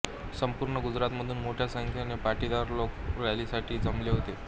संपूर्ण गुजरातमधून मोठ्या संख्येने पाटीदार लोक रॅलीसाठी जमले होते